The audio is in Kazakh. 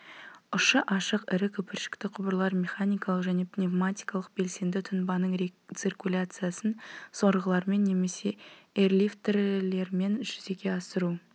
ұшы ашық ірі көпіршікті құбырлар механикалық және пневматикалық белсенді тұнбаның рециркуляциясын сорғылармен немесе эрлифтілермен жүзеге асыру